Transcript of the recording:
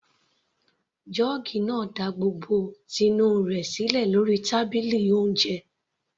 Jọ́ọ́gì náà da gbogbo ti inú rẹ̀ sílẹ̀ lórí tábìlì oúnjẹ.